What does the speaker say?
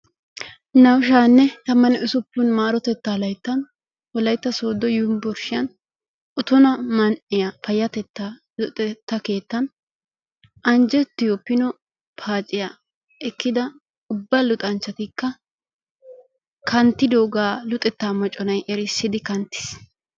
Naa''u sha'anne tammanne Usuppun maarotettaa layttan Wolaytta Sooddo Yunbburshshiyaan Otona man''iyaa payatetta luxetta keettaan anjjettiyo pino paaciya ekkida ubba luxanchchatikka kanttidoogaa luxetta mocconay erissidi knattiis.